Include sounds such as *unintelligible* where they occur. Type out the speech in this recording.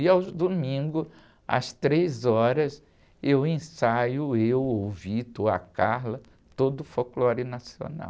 E aos domingos, às três horas, eu ensaio, eu, ou o, *unintelligible* ou a, *unintelligible* todo o folclore nacional.